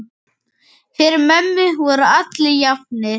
Fyrir mömmu voru allir jafnir.